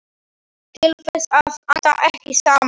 Kristin, heyrðu í mér eftir sjötíu mínútur.